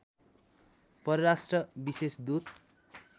परराष्ट्र विशेष दूत